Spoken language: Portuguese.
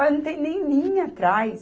Olha, não tem nem linha atrás.